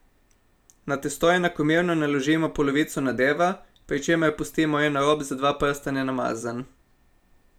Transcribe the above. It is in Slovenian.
Na testo enakomerno naložimo polovico nadeva, pri čemer pustimo en rob za dva prsta nenamazan.